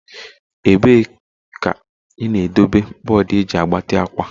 Ebee ka ị na-edobe bọọdụ eji agbati akwa?